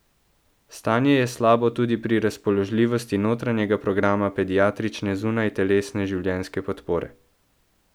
Stanje je slabo tudi pri razpoložljivosti notranjega programa pediatrične zunajtelesne življenjske podpore.